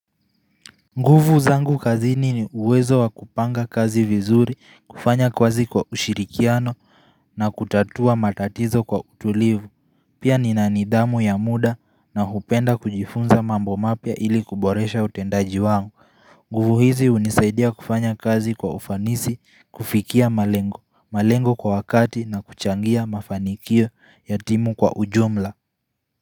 Nguvu zangu kazini ni uwezo wa kupanga kazi vizuri, kufanya kazi kwa ushirikiano na kutatua matatizo kwa utulivu Pia nina nidhamu ya muda na hupenda kujifunza mambo mapya ili kuboresha utendaji wangu nguvu hizi hunisaidia kufanya kazi kwa ufanisi, kufikia malengo malengo kwa wakati na kuchangia mafanikio ya timu kwa ujumla.